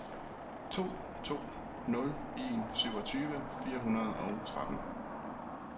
to to nul en syvogtyve fire hundrede og tretten